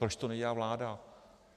Proč to nedělá vláda?